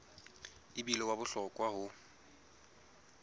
e bile wa bohlokwa ho